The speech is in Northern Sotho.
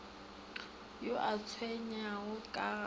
yo a tshwenyegago ka ga